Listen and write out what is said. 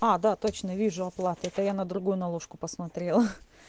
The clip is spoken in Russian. а да точно вижу оплату да я на другую наложку посмотрела